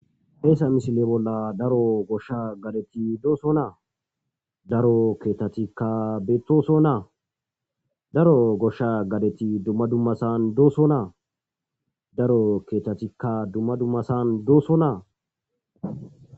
Hesa missile bolan daro gosha gadeti dosona daro kethatika betosona daro gosha gadeti duma dumasan dosona daro kethatika duma dumasan dosona.